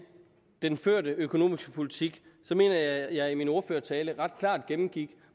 den førte økonomiske politik mener jeg at jeg i min ordførertale ret klart gennemgik